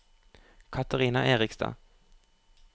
Katarina Erikstad